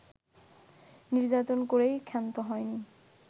নির্যাতন করেই ক্ষান্ত হয়নি